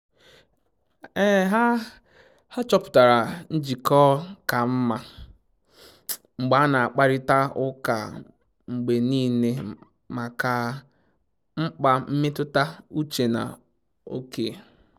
Ha chọpụtara njịkọ ka mma mgbe a na akparịta ụka mgbe niile maka mkpa mmetụta uche na oke